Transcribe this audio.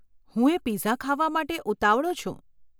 હું એ પિઝા ખાવા માટે ઉતાવળો છું.